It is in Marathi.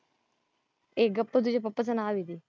ए गप्प तुझे पप्पाचं नाव हे ते.